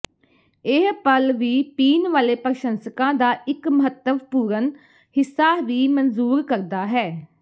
ਇਹ ਪਲ ਵੀ ਪੀਣ ਵਾਲੇ ਪ੍ਰਸ਼ੰਸਕਾਂ ਦਾ ਇੱਕ ਮਹੱਤਵਪੂਰਨ ਹਿੱਸਾ ਵੀ ਮਨਜ਼ੂਰ ਕਰਦਾ ਹੈ